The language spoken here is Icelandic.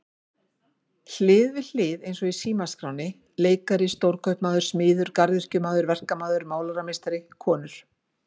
Hlið við hlið eins og í símaskránni leikari stórkaupmaður smiður garðyrkjumaður verkamaður málarameistari konur.